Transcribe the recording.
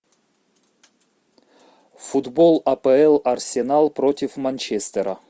футбол апл арсенал против манчестера